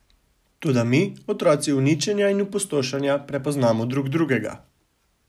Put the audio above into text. Toda mi, otroci uničenja in opustošenja, prepoznamo drug drugega.